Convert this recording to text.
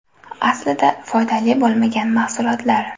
Aslida foydali bo‘lmagan mahsulotlar.